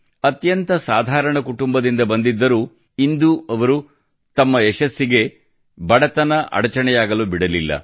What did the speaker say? ಅತ್ಯಂತ ಸಾಧಾರಣ ಕುಟುಂಬದಿಂದ ಬಂದಿದ್ದರೂ ಇಂದು ಅವರು ತಮ್ಮ ಯಶಸ್ಸಿಗೆ ಬಡತನ ಅಡಚಣೆಯಾಗಲು ಬಿಡಲಿಲ್ಲ